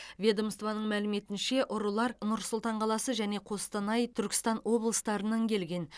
ведомствоның мәліметінше ұрылар нұр сұлтан қаласы және қостанай түркістан облыстарынан келген